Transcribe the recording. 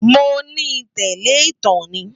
Mó ni tèlè itán ni